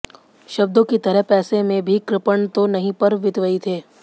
शब्दों की तरह पैसे में भी कृपण तो नहीं पर मितव्ययी थे